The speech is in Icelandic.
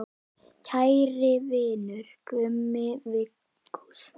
Kæri vinur, Gummi Viggós.